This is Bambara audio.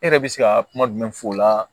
E yɛrɛ bɛ se ka kuma jumɛn fɔ o la